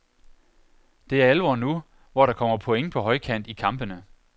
Det er alvor nu, hvor der kommer point på højkant i kampene.